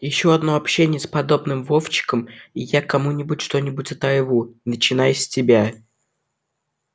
ещё одно общение с подобным вовчиком и я кому-нибудь что-нибудь оторву начиная с тебя